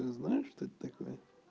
ты знаешь что это такое